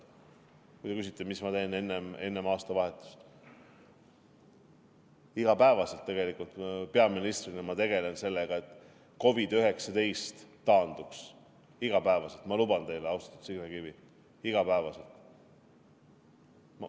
Kui te küsite, mida ma teen enne aastavahetust: peaministrina tegelen ma iga päev sellega, et COVID-19 taanduks, iga päev, ma luban teile, austatud Signe Kivi, iga päev.